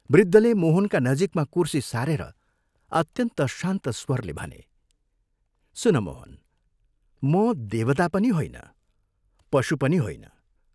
वृद्धले मोहनका नजीकमा कुर्सी सारेर अत्यन्त शान्त स्वरले भने, "सुन मोहन म देवता पनि होइन, पशु पनि होइन।